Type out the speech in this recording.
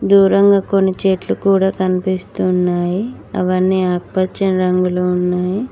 దూరంగా కొన్ని చెట్లు కూడా కనిపిస్తూ ఉన్నాయి అవన్నీ ఆకుపచ్చని రంగులో ఉన్నాయి.